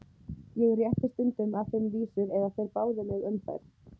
Ég rétti stundum að þeim vísur eða þeir báðu mig um þær.